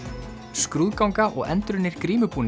skrúðganga og endurunnir